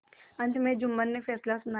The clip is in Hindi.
अंत में जुम्मन ने फैसला सुनाया